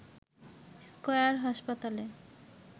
square হাসপাতালে